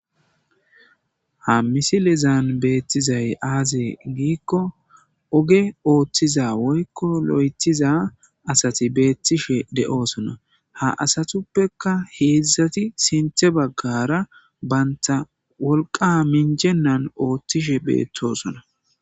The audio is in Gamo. Ha misilezaan beettizay aazee giikko oge ooththiza woykko lo'etiza asati beettishe de'oosona ha asatuppeka heedzdzati sinthe baggara baynta wolqa minjennan ooththishe beettosona.